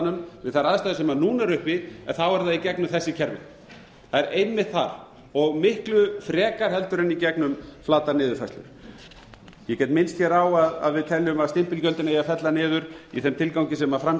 greiðsluvandanum við þær aðstæður sem núna eru uppi er það í gegnum þessi kerfi það er einmitt þar og miklu frekar heldur en í gegnum flatar niðurfærslur ég get minnt hér á að við teljum að stimpilgjöldin eigi að fella niður í þeim tilgangi sem fram